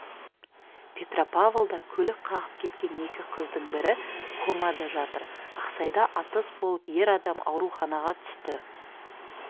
петропавлда көлік қағып кеткен екі қыздың бірі комада жатыр ақсайда атыс болып ер адам ауруханаға түсті